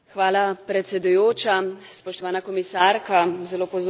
Zelo pozorno sem vas poslušala, drage kolegice in kolegi.